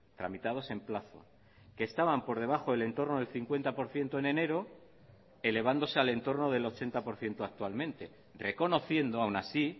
tramitados en plazo que estaban por debajo del entorno del cincuenta por ciento en enero elevándose al entorno del ochenta por ciento actualmente reconociendo aún así